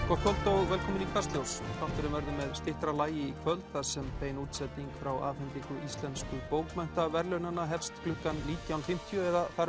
gott kvöld og velkomin í Kastljós þátturinn verður með styttra lagi í kvöld þar sem bein útsending frá afhendingu íslensku bókmenntaverðlaunanna hefst klukkan nítján fimmtíu